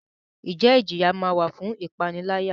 Njẹ ijiya ma wa fun ipanilaya?